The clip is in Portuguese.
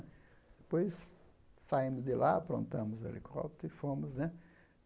Depois saímos de lá, aprontamos o helicóptero e fomos né.